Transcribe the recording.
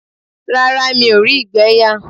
Rárá, mí ó rí ìgbẹ́ yà.